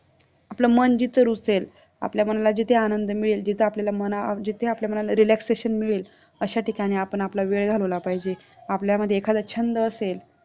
आपल्या मन जिथे रूसेल, आपल्या मनाला जिथे आनंद मिळेल, जिथे आपल्याला मना जिथे आपल्याला मनाला relaxation मिळेल अशा ठिकाणी आपण आपला वेळ घालवला पाहिजे, आपल्यामध्ये एखादा छंद असेल